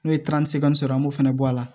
N'o ye sɔrɔ an b'o fana bɔ a la